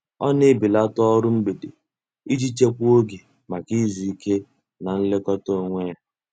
Ọ na-ebelata ọrụ mgbede iji chekwaa oge maka izu ike na nlekọta onwe ya.